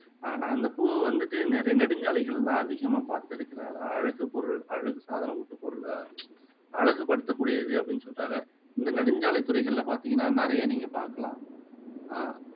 ஆஹ் நான் அந்த பூவை வந்துட்டு நிறைய நெடுஞ்சாலைகளில எல்லாம் அதிகமா பாத்திருக்கிறேன் அதான் அழகு பொருள் அழகு சாதனத்து பொருளா அழகு படுத்தக்கூடியது அப்படின்னு சொல்றாங்க இந்த நெடுஞ்சாலைத் துறைகளில பாத்தீங்கன்னா நிறைய நீங்க பாக்கலாம் ஆஹ்